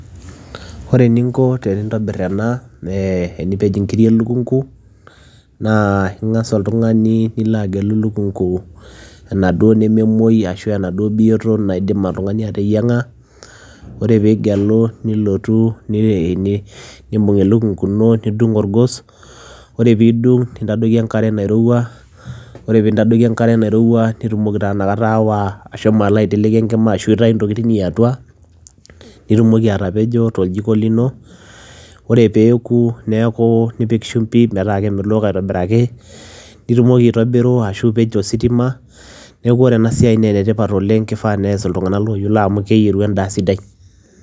Ore eninko tenintobir ena ee enipej inkirik elukung'u naa ing'asa oltung'ani nilo agelo elukung'u enaduo nememoui ashu aa enaduo biyoto naidim oltung'ani ateyiang'a. Ore piigelo nilotu ni e ni nimbung' elukung'u ino nidung' orgos, ore piidung' nintadoiki enkare nairowua ore piintadoiki enkare nairowua nitumoki taa inakata aawa ashomo alo aiteleki enkima ashu aitayu intokitin iiatua, nitumoki atapejo toljiko lino. Ore peeku neeku nipik shumbi metaa kemelok aitobiraki, nitumoki aitobiru ashu ipej to sitima, neeku ore ena siai ene tipat oleng' kifaa nees iltung'anak looyiolo amu keyieru endaa sidai.